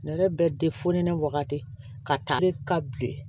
Ne yɛrɛ bɛ ne wagati ka taa ne ka bilen